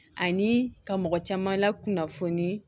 Ani ka mɔgɔ caman lakunnafoni